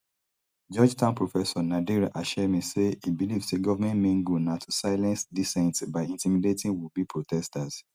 georgetown professor nader hashemi say e believe say govment main goal na to silence dissent by intimidating wouldbe protesters